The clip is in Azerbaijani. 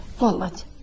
Balam.